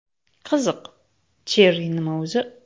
Qiziq, Cherry nima o‘zi!?